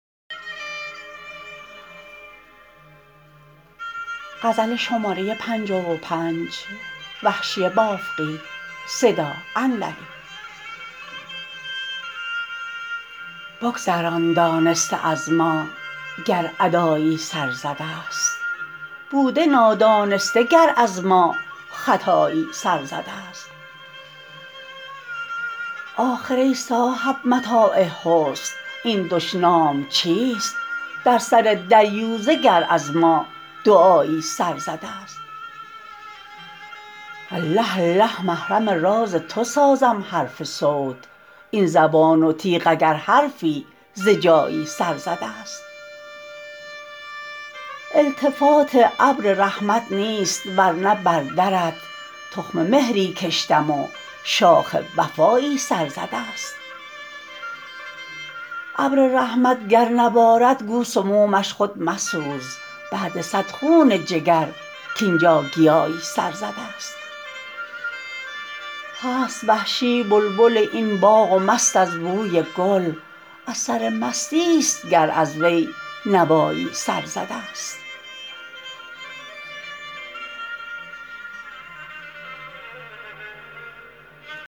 بگذران دانسته از ما گر ادایی سر زده ست بوده نادانسته گر از ما خطایی سر زده ست آخر ای صاحب متاع حسن این دشنام چیست در سر دریوزه گر از ما دعایی سر زده ست الله الله محرم راز تو سازم حرف صوت این زبان و تیغ اگر حرفی ز جایی سر زده ست التفات ابر رحمت نیست ورنه بر درت تخم مهری کشتم و شاخ وفایی سر زده ست ابر رحمت گر نبارد گو سمومش خود مسوز بعد صد خون جگر کـاینجا گیایی سر زده ست هست وحشی بلبل این باغ و مست از بوی گل از سر مستی ست گر از وی نوایی سر زده ست